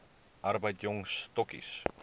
arbeid jong stokkies